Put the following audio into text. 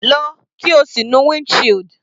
Lọ, kí o sì nu wind shield.